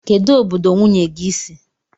Kedụ obodo nwunye gị si?